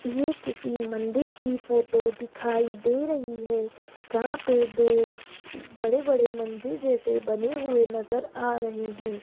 ये किसी मंदिर की फोटो दिखाई दे रही है जहां पे दो बड़े बड़े मंदिर जैसे बने हुए नजर आ रहे हैं।